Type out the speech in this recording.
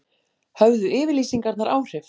Höfðu yfirlýsingarnar áhrif